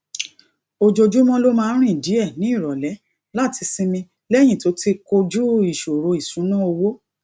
ojoojúmó ló máa ń rìn díè ní ìròlé láti sinmi léyìn tó ti kojú ìṣòro ìṣúnná owó